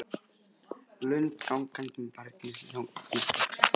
Lund gangandi með barnið sem þagnaði strax við tónana.